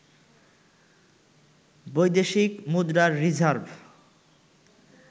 বৈদেশিক মুদ্রার রিজার্ভ